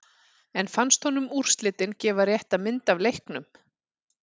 En fannst honum úrslitin gefa rétta mynd af leiknum?